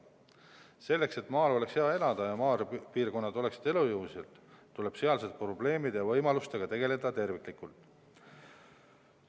Selleks, et maal oleks hea elada ja maapiirkonnad oleksid elujõulised, tuleb sealsete probleemide ja võimalustega tegeleda terviklikult.